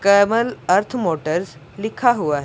कमल earth motors लिखा हुआ है।